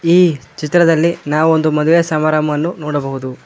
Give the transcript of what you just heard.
ಈ ಚಿತ್ರದಲ್ಲಿ ನಾವು ಒಂದು ಮದುವೆ ಸಮಾರಂಭವನ್ನು ನೋಡಬಹುದು.